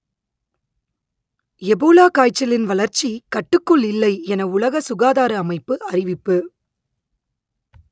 Ebola காய்ச்சலின் வளர்ச்சி கட்டுக்குள் இல்லை என உலக சுகாதார அமைப்பு அறிவிப்பு